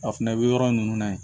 A fɛnɛ bɛ yɔrɔ ninnu na yen